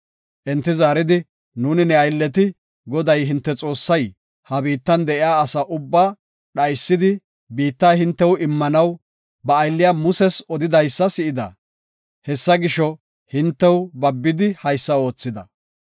Enti zaaridi, “Nuuni ne aylleti, Goday hinte Xoossay ha biittan de7iya asa ubbaa dhaysidi, biitta hintew immanaw ba aylliya Muses odidaysa si7ida. Hessa gisho, hintew babidi haysa oothida.